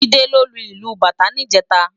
Jide ló lú ilú bátã nijèta